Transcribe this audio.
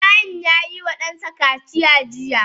Ibrahim yayi wa dansa kaciya jiya.